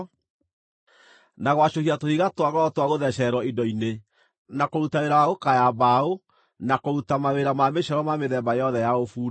na gwacũhia tũhiga twa goro twa gũthecererwo indo-inĩ, na kũruta wĩra wa gũkaaya mbaũ, na kũruta mawĩra ma mĩcoro ma mĩthemba yothe ya ũbundi.